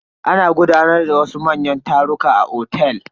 Ana gudanar da wasu manyan taruka a otel.